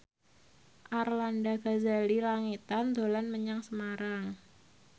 Arlanda Ghazali Langitan dolan menyang Semarang